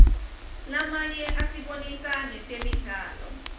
lamanye asibonisa ngetemidlalo